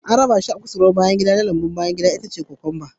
An kafa shi a kusurwar hasken rana na lambun bayan gida, itacen kokwamba ya bunƙasa